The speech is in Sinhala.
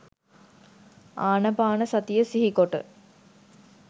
ආනපාන සතිය සිහිකොට